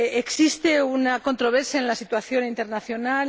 Existe una controversia en la situación internacional.